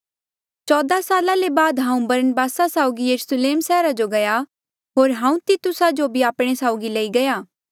चौदा साला ले बाद हांऊँ बरनबासा साउगी यरुस्लेम सैहरा जो गया होर हांऊँ तितुसा जो भी आपणे साउगी लेई गया